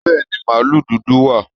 Bẹ́ẹ̀ni, màlúù dúdú wà